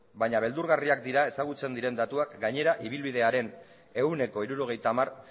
baina beldurgarriak dira ezagutzen diren datuak gainera ibilbidearen ehuneko hirurogeita hamar